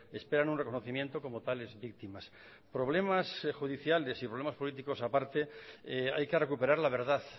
esperan un reconocimiento como tales víctimas problemas judiciales y problemas políticos aparte hay que recuperar la verdad